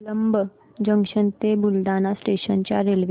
Jalamb junction ते Buldhana station च्या railway